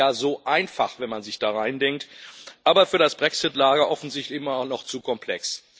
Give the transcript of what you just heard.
Es ist ja so einfach, wenn man sich da reindenkt, aber für das Brexit Lager offensichtlich immer noch zu komplex.